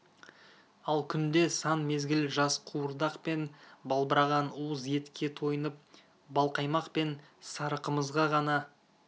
ал күнде сан мезгіл жас қуырдақ пен балбыраған уыз етке тойынып балқаймақ пен сары қымызға ғана